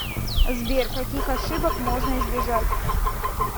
сбер каких ошибок можно избежать